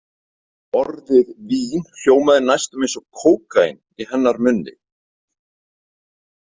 Orðið vín hljómaði næstum eins og kókaín í hennar munni.